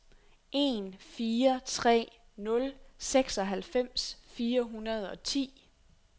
en fire tre nul seksoghalvfems fire hundrede og ti